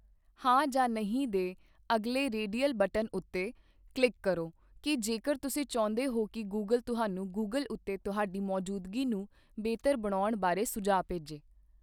ਹਾਂ' ਜਾਂ 'ਨਹੀਂ' 'ਦੇ ਅਗਲੇ ਰੇਡੀਅਲ ਬਟਨ ਉੱਤੇ ਕਲਿੱਕ ਕਰੋ ਕਿ 'ਜੇਕਰ ਤੁਸੀਂ ਚਾਹੁੰਦੇ ਹੋ ਕਿ ਗੂਗਲ ਤੁਹਾਨੂੰ ਗੂਗਲ ਉੱਤੇ ਤੁਹਾਡੀ ਮੌਜੂਦਗੀ ਨੂੰ ਬਿਹਤਰ ਬਣਾਉਣ ਬਾਰੇ ਸੁਝਾਅ ਭੇਜੇ।